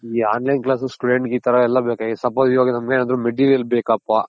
ಈ online class student ಇ ತರ ಎಲ್ಲ ಬೆಕ suppose ಈವಗ್ ನಮ್ಮಗ್ ಏನಾದ್ರೂ Material ಬೇಕಪ್ಪ